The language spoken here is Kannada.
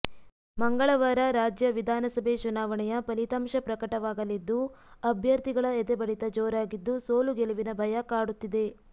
ಮಂಗಳವಾರ ರಾಜ್ಯ ವಿಧಾನ ಸಭೆ ಚುನಾವಣೆಯ ಫಲಿತಾಂಶ ಪ್ರಕಟವಾಗಲಿದ್ದು ಅಭ್ಯರ್ಥಿಗಳ ಎದೆ ಬಡಿತ ಜೋರಾಗಿದ್ದು ಸೋಲು ಗೆಲುವಿನ ಭಯ ಕಾಡುತ್ತಿದೆ